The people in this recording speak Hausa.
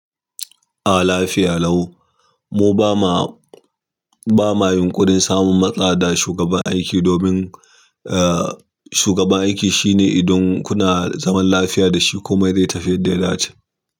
Ah lafiya lau. Mu ba ma, ba ma yunƙurin samun matsada shugaban aiki domin, eh, shugaban aiki shine idan kuna zaman lafiya da shi komai zai tafi yanda ya dace.